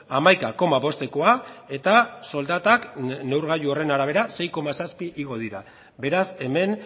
hamaika koma bostekoa eta soldatak neurgailu horren arabera sei koma zazpi igo dira beraz hemen